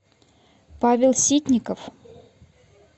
павел ситников